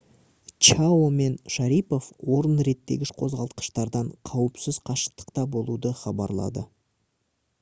чао мен шарипов орын реттегіш қозғалтқыштардан қауіпсіз қашықтықта болуды хабарлады